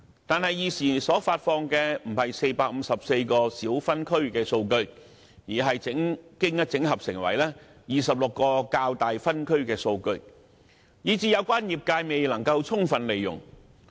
但是，現時所發放的，不是454個小分區的數據，而是經整合成為26個較大分區的數據，以致有關業界未能充分利用。